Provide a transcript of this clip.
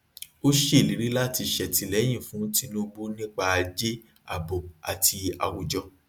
ó ṣèlérí láti ṣètìlẹyìn fún tinubu nípa ajé ààbò àti àwùjọ